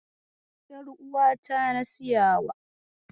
Ƴaruwata na siyawa.